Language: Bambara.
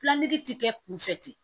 ti kɛ kunfɛ ten